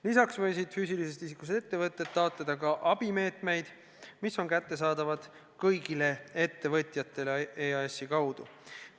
Lisaks võisid füüsilisest isikust ettevõtjad taotleda abimeetmeid, mis on kättesaadavad kõigile ettevõtjatele EAS-i kaudu.